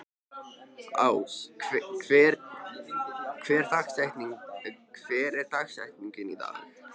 Ás, hver er dagsetningin í dag?